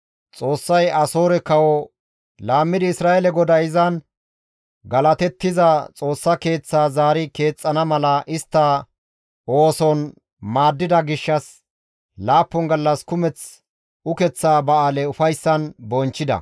Xoossay Asoore kawo laammidi Isra7eele GODAY izan galatetiza Xoossa Keeththaa zaari keexxana mala istta ooson maaddida gishshas laappun gallas kumeth ukeththa ba7aale ufayssan bonchchida.